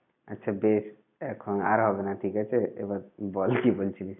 আচ্ছা বেশ। এখন আর হবে না ঠিক আছে? এবার বল কি বলছিলি?